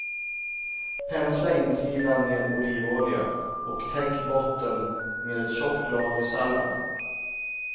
Pensla insidan med olivolja och täck botten med ett tjockt lager sallad.